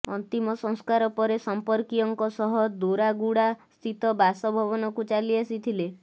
ଅନ୍ତିମ ସଂସ୍କାର ପରେ ସଂପର୍କୀୟଙ୍କ ସହ ଦୋରାଗୁଡା ସ୍ଥିତ ବାସ ଭବନକୁ ଚାଲିଆସିଥିଲେ